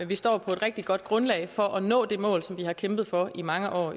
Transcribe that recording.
vi står på et rigtig godt grundlag for at nå det mål som vi har kæmpet for i mange år